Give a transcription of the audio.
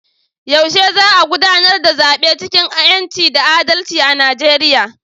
Yaushe za a gudanar da zabe cikin 'yanci da adalci a Nijeriya?